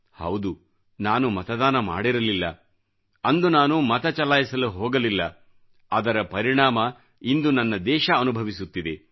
ಹೌದು ನಾನು ಮತದಾನ ಮಾಡಿರಲಿಲ್ಲಅಂದು ನಾನು ಮತ ಚಲಾಯಿಸಲು ಹೋಗಲಿಲ್ಲ ಅದರ ಪರಿಣಾಮ ಇಂದು ನನ್ನ ದೇಶ ಅನುಭವಿಸುತ್ತಿದೆ